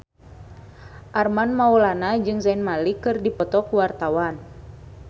Armand Maulana jeung Zayn Malik keur dipoto ku wartawan